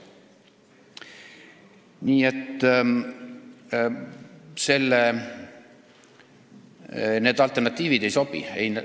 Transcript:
Nii et need alternatiivid ei sobi.